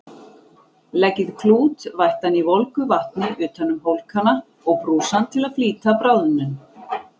Leggið klút vættan í volgu vatni utan um hólkana og brúsann til að flýta bráðnun.